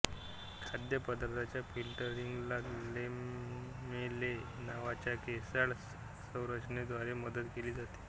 खाद्यपदार्थांच्या फिल्टरिंगला लॅमेले नावाच्या केसाळ संरचनेद्वारे मदत केली जाते